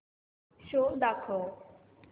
show दाखव